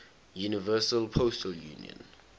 universal postal union